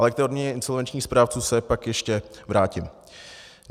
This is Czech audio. Ale k té odměně insolvenčních správců se pak ještě vrátím.